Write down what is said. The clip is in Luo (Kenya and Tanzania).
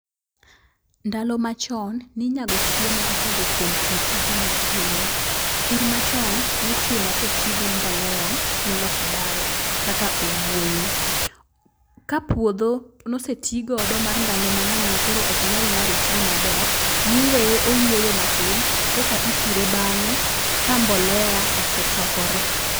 Ndalo macho, ninyago chiemo kokalo kuom pur ahinya ahinya. Pur machon nitimo kotigi mbolea miloso dala kaka owuoyo. Ka puodho nosetigodo mar ndalpo mang'eny makoro ok nyal nyago chiemo maber, niweye oyueyo matin koka ipure bang'e ka mbolea osechokore.